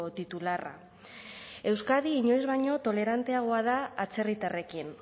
titularra euskadi inoiz baino toleranteagoa da atzerritarrekin